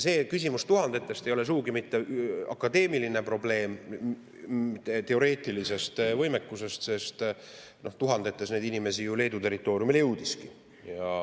See küsimus tuhandetest ei ole sugugi mitte akadeemiline probleem, teoreetiline võimekus, sest tuhandetes neid inimesi ju Leedu territooriumile jõudiski.